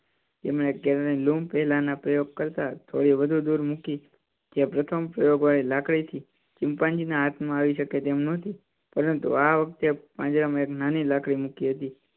તેમણે કેળાં ની લૂમ પેલા ના પ્રયોગ કરતાં થોડી વધુ દૂર મૂકી જે પ્રથમ પ્રયોગ વળી લાકડી થી ચિંપાંજી ના હાથ માં આવી અકે તેમ નતી. પરંતુ આ વખતે પાંજરા માં એક નાની લાકડી મૂકી હતી.